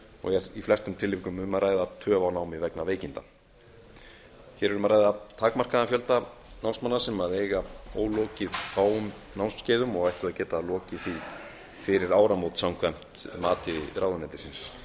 og er í flestum tilvikum um að ræða töf á námi vegna veikinda hér er um að ræða takmarkaðan fjölda námsmanna sem eiga ólokið fáum námskeiðum og ættu að geta lokið fyrir því fyrir áramót samkvæmt mati ráðuneytisins